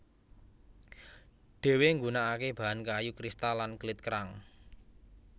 Dhewe nggunakake bahan kayu kristal lan klit kerang